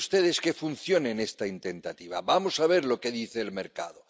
dejen ustedes que funcione esta tentativa, vamos a ver lo que dice el mercado.